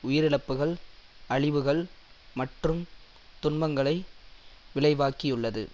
உயிரிழப்புக்கள் அழிவுகள் மற்றும் துன்பங்களை விளைவாக்கியுள்ளது